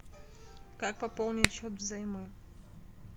как пополнить счет взаймы